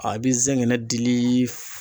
A be zɛgɛnɛ dili f